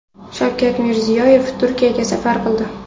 Shavkat Mirziyoyev Turkiyaga safar qildi .